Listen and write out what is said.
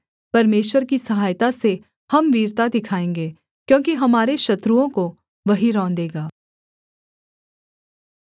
परमेश्वर की सहायता से हम वीरता दिखाएँगे क्योंकि हमारे शत्रुओं को वही रौंदेगा